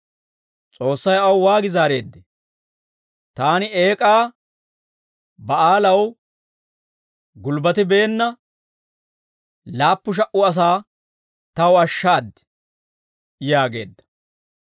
S'oossay aw waagi zaareeddee? «Taani Eek'aa Ba'aalaw gulbbatibeenna laappu sha"a asaa taw ashshaad» yaageedda.